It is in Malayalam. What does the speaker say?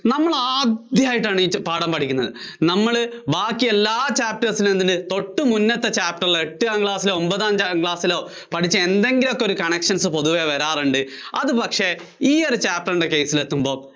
നമ്മള് ആദ്യായിട്ടാണ് ഈ പാഠം പഠിക്കുന്നത്. നമ്മള് ബാക്കി എല്ലാ chapter എന്തുണ്ട് തൊട്ടു മുന്നത്തെ Chapter ലെ എട്ടാം ക്ലാസ്സിലോ ഒമ്പതാം ക്ലാസ്സിലോ പഠിച്ച എന്തെങ്കിലോക്കെ ഒരു connections പൊതുവേ വരാറുണ്ട് അതു പക്ഷേ ഈ ഒരു chapter ന്‍റെ case ല്‍ എത്തുമ്പോൾ